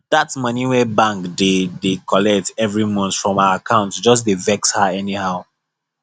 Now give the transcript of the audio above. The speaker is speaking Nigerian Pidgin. that money wey bank dey dey collect every month from her account just dey vex her anyhow